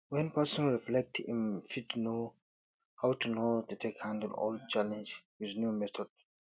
when person reflect im fit know how to how to take handle old challenge with new method